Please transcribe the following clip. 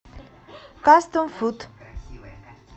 кастом фуд